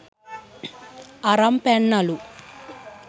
අරන් පැන්නලු.